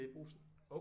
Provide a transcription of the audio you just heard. I Brugsen